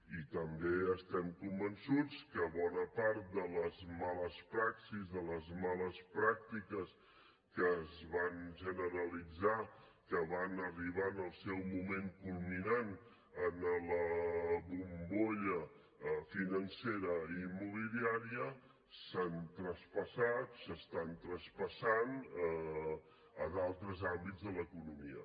i també estem convençuts que bona part de les males praxis de les males pràctiques que es van generalitzar que van arribar en el seu moment culminant en la bombolla financera immobiliària s’han traspassat s’estan traspassant a d’altres àmbits de l’economia